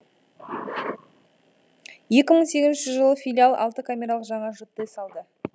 екі мың сегізінші жылы филиал алты камералық жаңа жтс алды